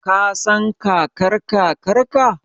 Ka san Kakar-Kakarka?